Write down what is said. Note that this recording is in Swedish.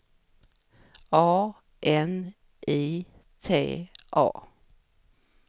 A N I T A